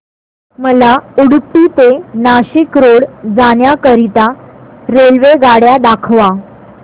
मला उडुपी ते नाशिक रोड जाण्या करीता रेल्वेगाड्या दाखवा